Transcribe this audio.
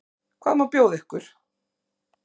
Hvað má bjóða ykkur?